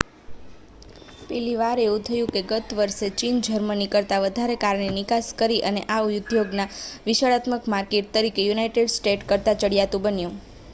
પહેલી વાર એવું થયું કે ગત વર્ષે ચીને જર્મની કરતાં વધારે કારની નિકાસ કરી અને આ ઉદ્યોગના વિશાળતમ માર્કેટ તરીકે યુનાઇટેડ સ્ટેટ્સ કરતાં ચડિયાતું બન્યું